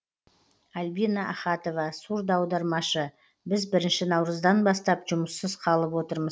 альбина ахатова сурдоаудармашы біз бірінші наурыздан бастап жұмыссыз қалып отырмыз